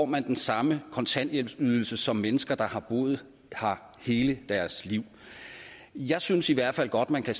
man den samme kontanthjælpsydelse som mennesker der har boet her hele deres liv jeg synes i hvert fald godt man kan